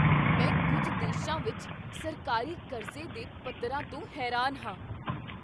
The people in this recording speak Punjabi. ਮੈਂ ਕੁੱਝ ਦੇਸ਼ਾਂ ਵਿੱਚ ਸਰਕਾਰੀ ਕਰਜ਼ੇ ਦੇ ਪੱਧਰ ਤੋਂ ਹੈਰਾਨ ਹਾਂ।